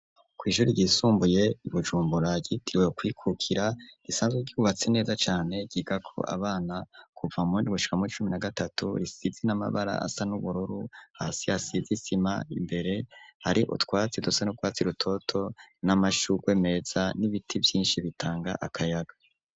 Kwishuri ryisumbuye i bujumbura ryitiriwe kwikukira risanzwe ryubatse neza cane giga ko abana kuva mundi gushika muwi cumi na gatatu risize n'amabara asa nubururu hasiasizisima imbere hari utwatsi dusa n'utwatsi rutoto n'amashurwe meza n'ibiti vyinshi bitanga akayaga.